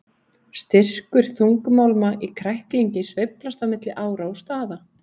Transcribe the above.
Styrkur þungmálma í kræklingi sveiflast á milli ára og staða.